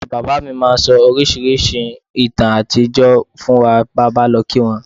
Ìyá bàbá mi máa ń ń sọ àwọn oríṣiríṣi ìtàn àtijọ́ fún wa bí a bá lọ kí wọ́n